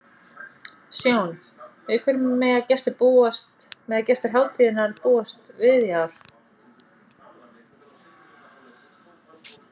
Sjón, við hverju mega gestir hátíðarinnar búast við í ár?